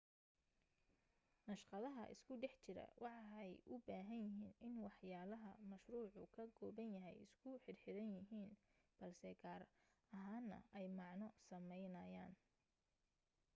naqshadaha isku dhex jira waxay u baahan yihiin in waxyaalaha mashruucu ka kooban yahay isku xirxiran yihiin balse gaar ahaana ay macno sameynayaan